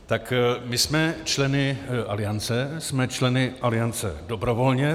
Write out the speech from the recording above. Tak my jsme členy Aliance, jsme členy Aliance dobrovolně.